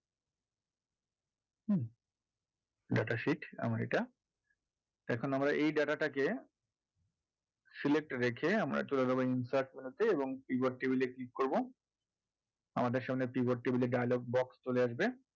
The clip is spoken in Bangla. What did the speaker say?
data sheet আমার এটা এখন আমরা এই data টাকে select রেখে আমরা চলে যাবো insert row তে এবং pivot table এ click করবো আমাদের সামনে pivot table এর যা যা box চলে আসবে